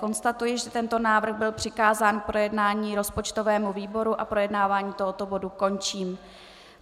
Konstatuji, že tento návrh byl přikázán k projednání rozpočtovému výboru, a projednávání tohoto bodu končím.